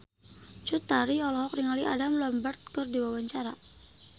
Cut Tari olohok ningali Adam Lambert keur diwawancara